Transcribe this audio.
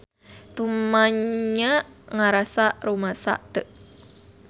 Tumanya ngarasa rumasa teu.